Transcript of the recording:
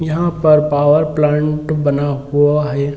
यहाँ पर power plant बना हुआ है |